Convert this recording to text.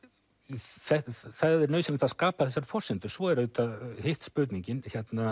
það er nauðsynlegt að skapa þessar forsendur svo er auðvitað hitt spurningin